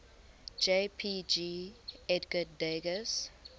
jpg edgar degas